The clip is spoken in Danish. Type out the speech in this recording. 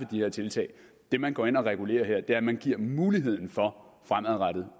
de her tiltag det man går ind og regulerer her er at man giver muligheden for fremadrettet